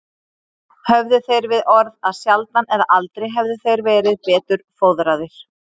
Höfðu þeir við orð að sjaldan eða aldrei hefðu þeir verið betur fóðraðir.